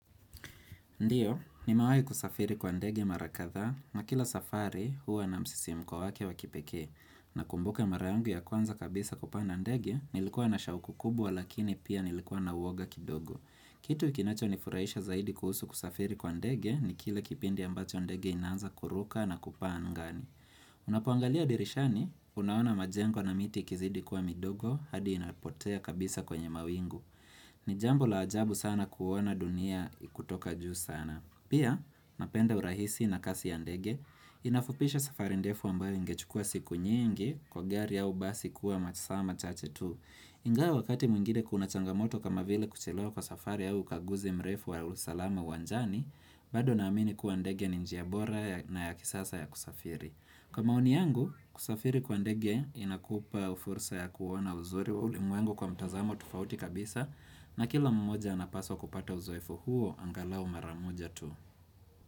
Ndiyo, nimewai kusafiri kwa ndege marakadha na kila safari huwa na msisimko wake wakipekee. Na kumbuka mara yangu ya kwanza kabisa kupanda ndege, nilikuwa na sahuku kubwa lakini pia nilikuwa na uoga kidogo. Kitu kinacho nifurahisha zaidi kuhusu kusafiri kwa ndegi ni kila kipindi ambacho ndege inaanza kuruka na kupaa angani. Unapoangalia dirishani, unaona majengo na miti ikizidi kuwa midogo hadi inapotea kabisa kwenye mawingu. Ni jambo la ajabu sana kuona dunia kutoka juu sana. Pia napenda urahisi na kasi ya ndege, inafupisha safari ndefu ambayo ingechukuwa siku nyingi kwa gari ya basi kuwa masaa machache tu. Ingwa wakati mwingine kuna changamoto kama vile kuchelewa kwa safari au ukaguzi mrefu wa usalama uwanjani, bado naamini kuwa ndege ni njia bora na ya kisasa ya kusafiri. Kwa maoni yangu, kusafiri kwa ndege inakupa fursa ya kuona uzuri wa ulimuengu kwa mtazamo tofauti kabisa na kila mmoja anapaswa kupata uzoefu huo angalao maramoja tu.